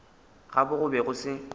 gabo go be go se